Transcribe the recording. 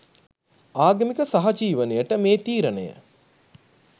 ආගමීක සහජීවනයට මේ තීරණය